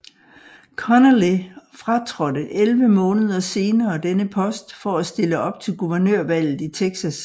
Connally fratrådte 11 måneder senere denne post for at stille op til guvernørvalget i Texas